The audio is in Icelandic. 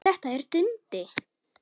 Þetta er Dundi!